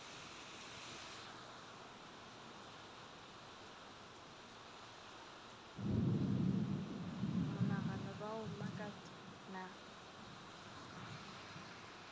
monagano ba a mmakat na